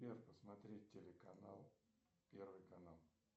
посмотреть телеканал первый канал